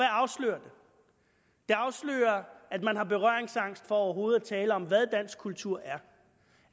afslører at man har berøringsangst for overhovedet at tale om hvad dansk kultur er